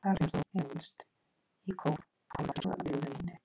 Þar finnur þú, innst í kór, hálfa flösku af vígðu víni.